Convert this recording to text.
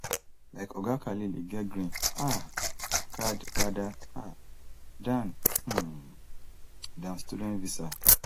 like oga khalil e get green um card rather um dan um dan student visa